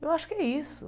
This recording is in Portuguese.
Eu acho que é isso.